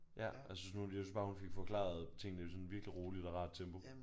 Ja jeg synes jeg synes bare hun fik forklaret tingene sådan virkelig roligt og rart tempo